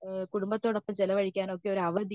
കുടുംബത്തോടൊപ്പം ചിലവഴിക്കാൻ ഒക്കെ ഒരു അവധി